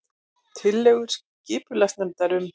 Tillögur skipulagsnefndar um